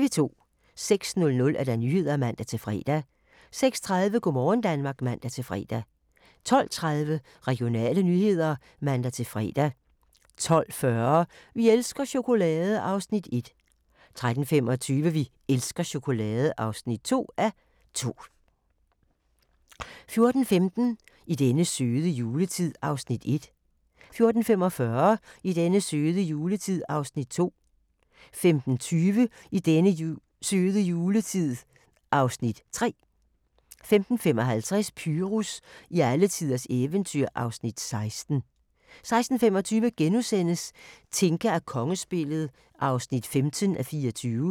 06:00: Nyhederne (man-fre) 06:30: Go' morgen Danmark (man-fre) 12:30: Regionale nyheder (man-fre) 12:40: Vi elsker chokolade! (1:2) 13:25: Vi elsker chokolade! (2:2) 14:15: I den søde juletid (Afs. 1) 14:45: I den søde juletid (Afs. 2) 15:20: I den søde juletid (Afs. 3) 15:55: Pyrus i alletiders eventyr (Afs. 16) 16:25: Tinka og kongespillet (15:24)*